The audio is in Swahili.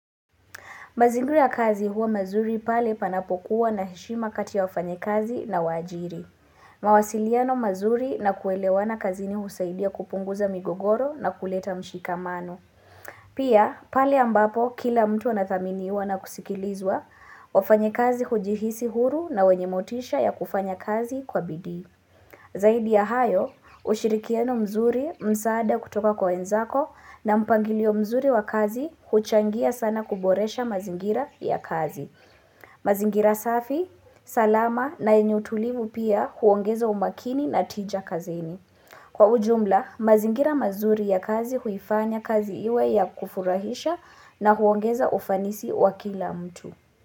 Mazingira ya kazi huwa mazuri pale panapokuwa na heshima kati ya wafanyi kazi na waajiri. Mawasiliano mazuri na kuelewana kazini husaidia kupunguza migogoro na kuleta mshikamano. Pia, pale ambapo kila mtu anathaminiwa na kusikilizwa wafanyi kazi hujihisi huru na wenye motisha ya kufanya kazi kwa bidii. Zaidi ya hayo, ushirikiano mzuri msaada kutoka kwa wenzako na mpangilio mzuri wa kazi huchangia sana kuboresha mazingira ya kazi. Mazingira safi, salama na enye utulivu pia huongeza umakini na tija kazini. Kwa ujumla, mazingira mazuri ya kazi huifanya kazi iwe ya kufurahisha na huongeza ufanisi wa kila mtu.